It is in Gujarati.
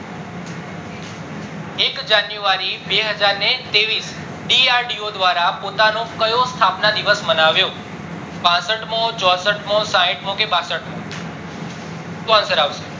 એક january બેજાર ત્રેઈસ DRDO દ્વારા પોતાનો કયો સ્થાપના દિવસ મનાવ્યો પાસઠમો, ચોસઠ મો, સાઈઠ મો, કે બાસઠ મો, શું answer આવશે